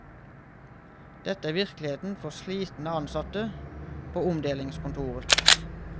Dette er virkeligheten for slitne ansatte på omdelingskontoret.